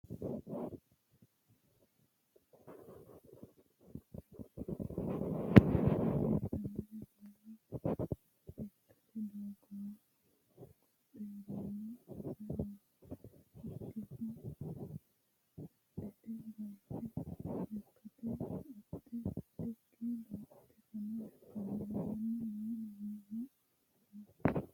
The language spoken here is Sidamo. Mannu budu hodhishsha harre horonsire shiimadareno ikko jajjabbareno ikko hasirire baalla lekkate doogora hogophe harano insa hoogihu badhete bayirano lekkate koatte wodhikki doogo fano lekkani harani no mannino no.